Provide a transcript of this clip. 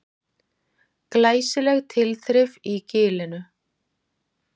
Glæsileg tilþrif í Gilinu